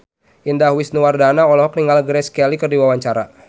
Indah Wisnuwardana olohok ningali Grace Kelly keur diwawancara